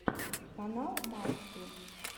канал макси